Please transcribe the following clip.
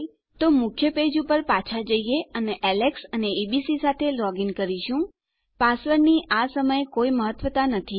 તો ચાલો આપણા મુખ્ય પુષ્ઠ પર પાછા જઈએ અને આપણે એલેક્સ અને એબીસી સાથે લોગીન કરીશું પાસવર્ડની આ સમયે કોઈ મહત્વતા નથી